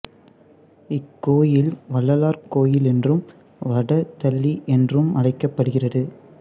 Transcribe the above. இக்கோயில் வள்ளலார் கோயில் என்றும் வட தளி என்றும் அழைக்கப்படுகிறது